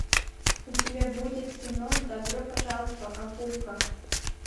у тебя будет кино добро пожаловать в акапулько